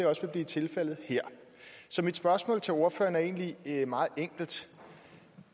også vil blive tilfældet her så mit spørgsmål til ordføreren er egentlig meget enkelt